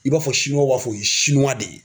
I b'a fɔ b'a fɔ de ye